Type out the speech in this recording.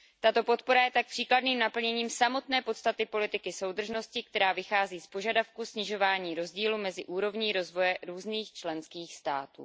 Tato podpora je tak příkladným naplněním samotné podstaty politiky soudržnosti, která vychází z požadavku snižování rozdílu mezi úrovní rozvoje různých členských států.